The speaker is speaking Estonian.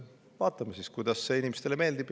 Vaatame siis, kuidas see inimestele meeldib.